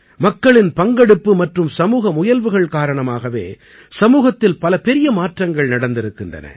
மக்களின் பங்கெடுப்பு மற்றும் சமூக முயல்வுகள் காரணமாகவே சமூகத்தில் பல பெரிய மாற்றங்கள் நடந்திருக்கின்றன